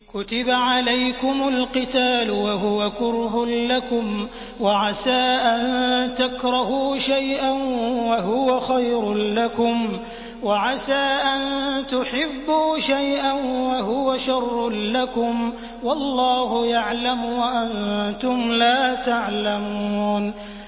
كُتِبَ عَلَيْكُمُ الْقِتَالُ وَهُوَ كُرْهٌ لَّكُمْ ۖ وَعَسَىٰ أَن تَكْرَهُوا شَيْئًا وَهُوَ خَيْرٌ لَّكُمْ ۖ وَعَسَىٰ أَن تُحِبُّوا شَيْئًا وَهُوَ شَرٌّ لَّكُمْ ۗ وَاللَّهُ يَعْلَمُ وَأَنتُمْ لَا تَعْلَمُونَ